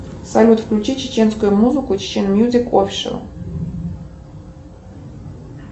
салют включи чеченскую музыку чечен мьюзик офишел